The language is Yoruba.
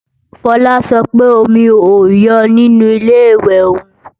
Fola sọ pé omi ò yọ nínu Ilé-ìwẹ̀ òun